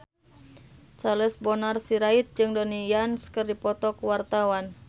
Charles Bonar Sirait jeung Donnie Yan keur dipoto ku wartawan